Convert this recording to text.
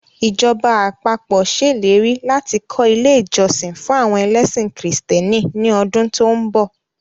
Ìjọba àpapọ̀ ṣèlérí láti kọ́ ilé ìjọsìn fún àwọn ẹlẹ́sìn kìrìsìtẹ́nì ní ọdún tó ń bọ̀